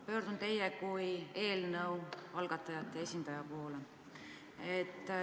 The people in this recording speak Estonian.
Pöördun teie kui eelnõu algatajate esindaja poole.